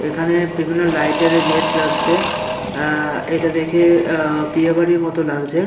এইখানে বিভিন্ন লাইট -এর গেট লাগছে। অ্যা এইটা দেখে অ্যা বিয়ে বাড়ির মতো লাগছে ।